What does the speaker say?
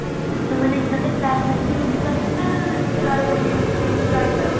ତମେ ମାନେ କେବେ class ସାରିକି roomକୁ ଆଶୁନ ଏମିତି ରହିଥାଅ